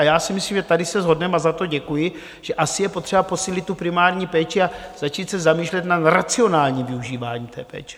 A já si myslím, že tady se shodneme, a za to děkuji, že asi je potřeba posílit tu primární péči a začít se zamýšlet nad racionálním využíváním té péče.